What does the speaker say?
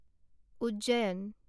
Ujjain